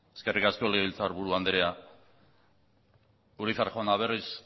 eskerrik asko legebiltzarburu andrea urizar jauna berriz